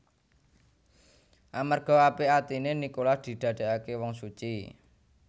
Amarga apik atiné Nikolas didadèkaké wong suci